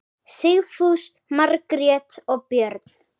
Sigfús, Margrét og börn.